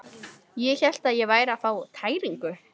Ég hélt ég væri að fá tæringu.